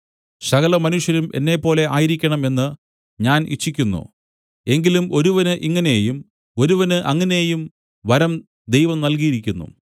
സകലമനുഷ്യരും എന്നെപ്പോലെ ആയിരിക്കണം എന്ന് ഞാൻ ഇച്ഛിക്കുന്നു എങ്കിലും ഒരുവന് ഇങ്ങനെയും ഒരുവന് അങ്ങനെയും വരം ദൈവം നല്കിയിരിക്കുന്നു